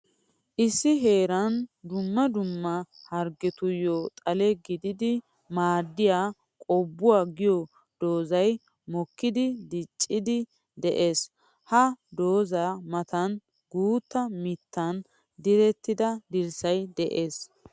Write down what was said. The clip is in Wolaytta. Issi heeran dumma dumma harggetuyo xalle gididdi maadiya qobbuwa giyo doozzay mokkiddi diccidde de'ees. Ha dooza matan guuta mittan direttidda dirssay de'ees.